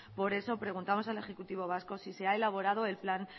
por eso preguntamos al ejecutivo vasco si se ha elaborado el plan